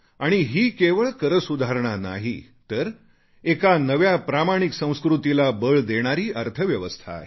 आणि ही केवळ एक करसुधारणा नाही तर एका नव्या प्रामाणिक संस्कृतीला बळ देणारी व्यवस्था आहे